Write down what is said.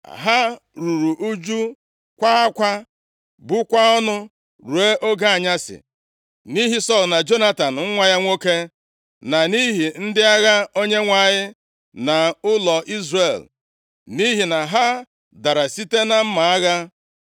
Ha ruru ụjụ. Kwaa akwa. Bukwaa ọnụ ruo oge anyasị nʼihi Sọl na Jonatan nwa ya nwoke, na nʼihi ndị agha Onyenwe anyị na ụlọ Izrel. Nʼihi na ha dara site na mma agha.